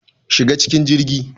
Shiga cikin jirgi